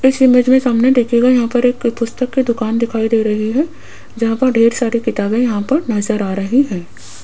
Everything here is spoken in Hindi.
इस इमेज में सामने देखिएगा यहां पर एक पुस्तक की दुकान दिखाई दे रही है जहां पर ढेर सारी किताबें यहां पर नजर आ रही हैं।